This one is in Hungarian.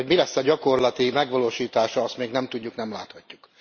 Hogy mi lesz a gyakorlati megvalósítása, azt még nem tudjuk, nem láthatjuk.